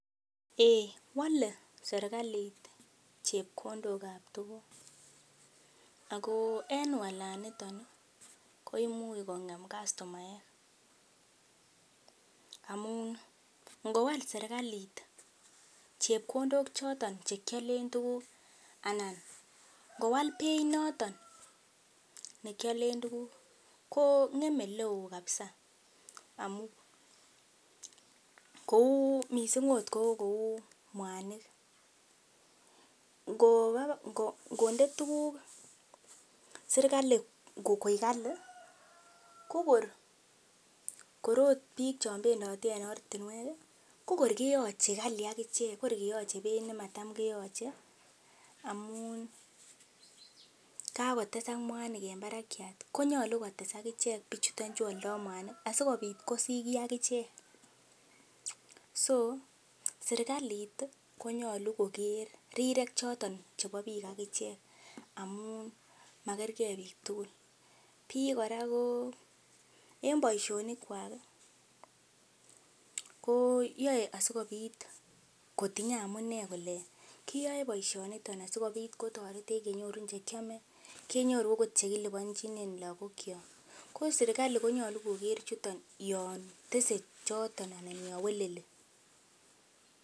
Eiy wole serkalit chepkondok ab tuguk, ago en walaniton koimuch kong'em kastomaek amun ngowal serkalit chepkondok choton che kialen tuguk anan ngowal beit noto nekialen tuguk, ko ng;eme ole oo kabisa mising akot ko kou mwanik. Ngonde tuguk serkalit koik kali ko kor agot biik chebendote en oratinwek kogor keyoche kali ak ichek kor keyoche beit nemacham keyoche amun kagotesak mwanik en barak konyolu kotes ak ichek bichuto chu oldo mwanik asikobit kosich kiy ak ichek. So, serkalit ii konyoru koger rirek choto chebo biik ak ichek amun makerge biik tugul. Biik kora ko en boisionik kwak koyoe asikobit kotinye amune kole kiyoe boisioniton asikobit kotoretichu kenyoru che kiome, kenyoru agot che kilipanjinen lagok kyok. Ko serkalit ko nyolu koger chuto yon tese choton anan yon weleli.